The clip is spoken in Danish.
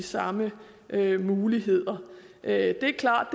samme muligheder det er klart